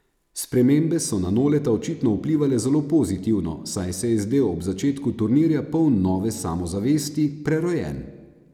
Spremembe so na Noleta očitno vplivale zelo pozitivno, saj se je zdel ob začetku turnirja poln nove samozavesti, prerojen.